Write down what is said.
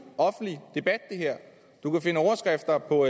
offentlig debat du kan finde overskrifter på